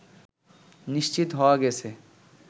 নিশ্চিত হওয়া গেছে